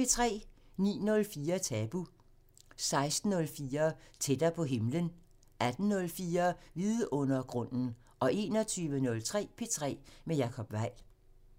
09:04: Tabu 16:04: Tættere på himlen 18:04: Vidundergrunden 21:03: P3 med Jacob Weil